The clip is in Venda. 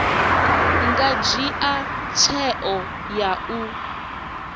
nga dzhia tsheo ya u